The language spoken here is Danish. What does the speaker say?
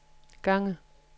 gange